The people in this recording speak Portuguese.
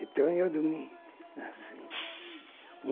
Então, eu dormia assim.